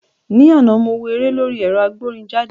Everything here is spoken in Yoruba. Ní àná, mo wo eré lórí ẹ̀rọ agbórinjáde